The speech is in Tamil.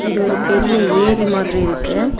இது ஒரு பெரிய ஏரி மாதிரி இருக்கு.